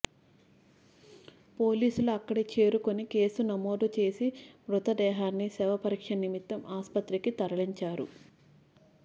పోలీసులు అక్కడి చేరుకొని కేసు నమోదు చేసి మృతదేహాన్ని శవ పరీక్ష నిమిత్తం ఆస్పత్రికి తరలించారు